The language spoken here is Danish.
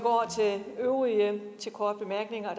øvrige der